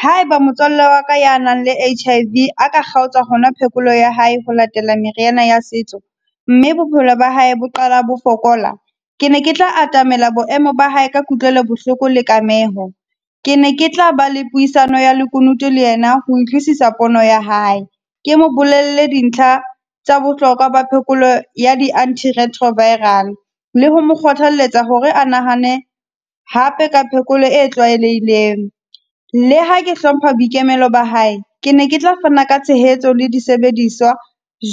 Ha e ba motswalle wa ka a nang le H_I_V a ka kgaotsa hona phekolo ya hae ho latela meriana ya setso, mme bophelo ba hae bo qala bo fokola. Ke ne ke tla atamela boemo ba hae ka kutlwelo bohloko le kameho. Ke ne ke tla ba le puisano ya lekunutu le yena ho utlwisisa pono ya hae. Ke mo bolelle dintlha tsa bohlokwa ba phekolo ya di anti-retroviral, le ho mo kgothalletsa hore a nahane hape ka phekolo e tlwaelehileng. Le ha ke hlompha boikemelo ba hae, ke ne ke tla fana ka tshehetso le disebediswa